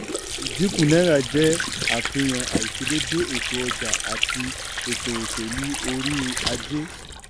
ìdínkù náírà jẹ́ àfihàn àìṣedédé ètò ọjà àti ètò òṣèlú orí ajé.